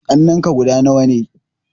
Ƙannenka guda nawa ne?